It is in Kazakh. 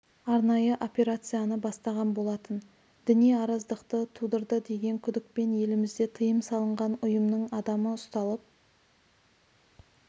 арнайы операцияны бастаған болатын діни араздықтықты тудырды деген күдікпен елімізде тыйым салынған ұйымның адамы ұсталып